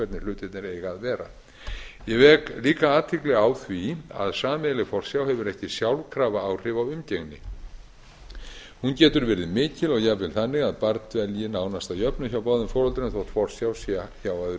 hlutirnir eiga að vera ég vek líka athygli á því að sameiginleg forsjá hefur ekki sjálfkrafa áhrif á umgengni hún getur verið mikil og jafnvel þannig að barn dvelji nánast að jöfnu hjá báðum foreldrum þær forsjá sé hjá öðru foreldrinu